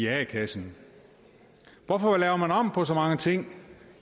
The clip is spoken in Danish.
a kassen hvorfor laver man om på så mange ting